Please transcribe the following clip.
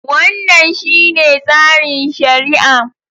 Wannan shine tsarin shari'a.